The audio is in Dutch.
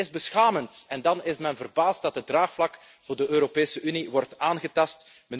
Dit is beschamend en dan is men verbaasd dat het draagvlak voor de Europese Unie wordt aangetast.